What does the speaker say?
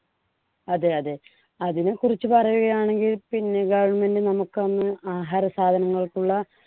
അതെ അതെ അതിനെക്കുറിച്ച് പറയുകയാണെങ്കിൽ പിന്നെ government നമുക്ക് അന്ന് ആഹാര സാധനങ്ങൾക്കുള്ള